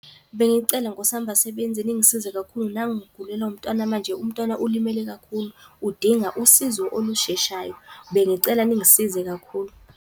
Bengicela nkos'yam basebenzi ningisize kakhulu naku ngigulelwa umntwana. Manje umntwana ulimele kakhulu, udinga usizo olusheshayo, bengicela ningisize kakhulu.